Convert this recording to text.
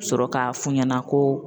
Sɔrɔ k'a f'u ɲɛna ko